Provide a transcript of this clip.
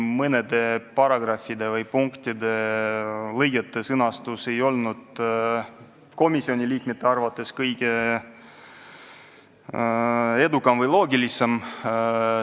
Mõnede paragrahvide või punktide-lõigete sõnastus ei olnud komisjoni liikmete arvates kuigi loogiline.